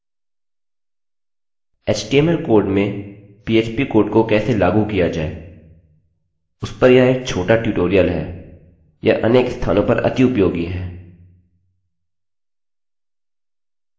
htmlएचटीएमएल code में PHP code को कैसे लागू किया जाय उस पर यह एक छोटा ट्यूटोरियल है यह अनेक स्थानों पर अति उपयोगी है